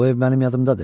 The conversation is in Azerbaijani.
Bu ev mənim yadımdadır.